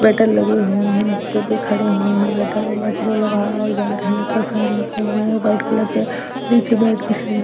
waiter लगे हुए हैं जो कि खड़े हुए हैं वेटर और बाकी सब लोग आ और जा रहे है ऊपर फैन लगे हुए हैं वाइट कलर के नीचे मैट बिछाई--